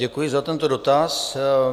Děkuji za tento dotaz.